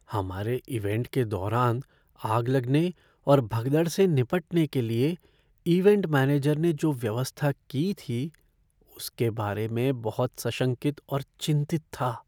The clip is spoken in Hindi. हमारे इवैंट के दौरान आग लगने और भगदड़ से निपटने के लिए इवैंट मैनेजर ने जो व्यवस्था की थी उसके बारे में बहुत सशंकित और चिंतित था।